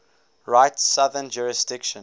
rite's southern jurisdiction